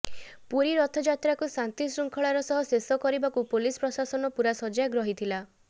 ପୁରୀ ରଥଯାତ୍ରାକୁ ଶାନ୍ତି ଶୃଙ୍ଖଳାର ସହ ଶେଷ କରିବାକୁ ପୋଲିସ ପ୍ରଶାସନ ପୂରା ସଜାଗ ରହିଥିଲା